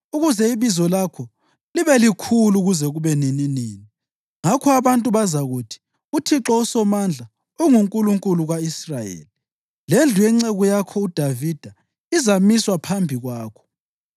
ukuze ibizo lakho libe likhulu kuze kube nininini. Ngakho abantu bazakuthi, ‘ UThixo uSomandla unguNkulunkulu ka-Israyeli!’ Lendlu yenceku yakho uDavida izamiswa phambi kwakho.